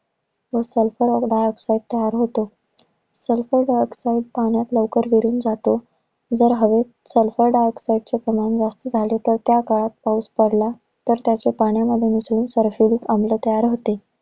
मग sulpher dioxide तयार होतो. Sulpher dioxide पाण्यात लवकर विरून जातो जर हवेत Sulpher dioxide चे प्रमाण जास्ती झाले. तर त्याकाळात पाऊस पडला, तर त्याचे पाण्यामध्ये मिसळून sulphuric आम्ल तयार होते.